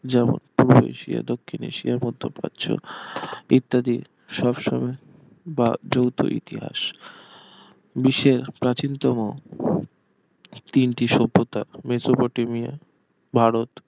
যেমন পূর্ব এশিয়া দক্ষিণ এশিয়া মধ্য প্রাচ্য ইত্যাদি সব সময়ের বা যৌথ ইতিহাস বিশ্বের প্রাচীনতম তিনটি সভ্যতা মেসোপটেমিয়া ভারত